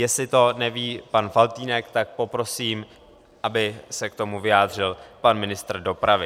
Jestli to neví pan Faltýnek, tak poprosím, aby se k tomu vyjádřil pan ministr dopravy.